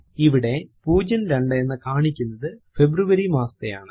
ഇവിടെ 02 എന്ന് കാണിക്കുന്നത് ഫെബ്രുവരി മാസത്തെയാണ്